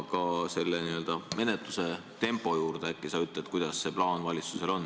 Ja ehk sa puudutad ka n-ö menetluse tempot ja ütled, milline see plaan valitsusel on.